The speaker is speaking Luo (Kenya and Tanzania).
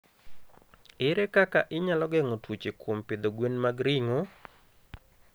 Ere kaka inyalo geng'o tuoche kuom pidho gwen mag ringo?